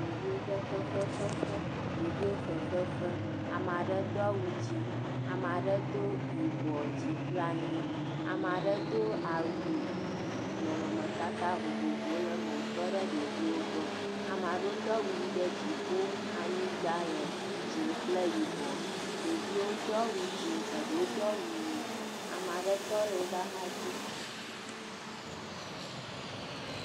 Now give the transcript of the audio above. Ɖeviwo ƒe fefe ƒe fe, ɖeviwo fefe fem, ame aɖewo do awu dzɛ̃ ame ɖe do yibɔ dzi kple anyi, ame aɖe do awu nɔnɔmetata vovovowo le eme wotɔ ɖe ɖeviwo gbɔ, ame aɖewo do awu ʋi ɖe dziƒo anyigbale dzɛ̃ kple yibɔ, ɖeviwo do awu dzɛ̃ eɖewo do awu ʋi, ame aɖewo tɔ ɖe woƒe axa dzi.